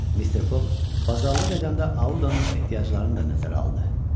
Mister Foq bazarlıq edəndə Audanın ehtiyaclarını da nəzərə aldı.